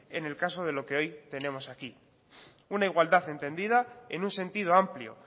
en el caso de lo que hoy tenemos aquí una igualdad entendida en un sentido amplio